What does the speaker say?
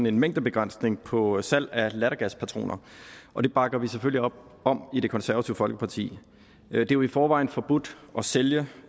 en mængdebegrænsning på salg af lattergaspatroner og det bakker vi selvfølgelig op om i det konservative folkeparti det er jo i forvejen forbudt at sælge